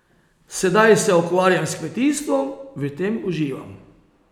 Sedaj se ukvarjam s kmetijstvom, v tem uživam.